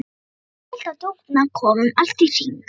Það er fullt af dúfnakofum allt í kring.